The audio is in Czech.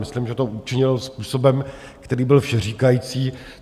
Myslím, že to učinil způsobem, který byl všeříkající.